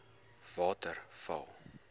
waterval